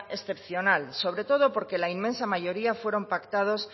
excepcional sobre todo porque la inmensa mayoría fueron pactados